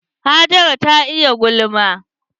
Hajara ta iya gulma.